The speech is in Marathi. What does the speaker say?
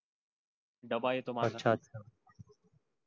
डब्बा येतो माझ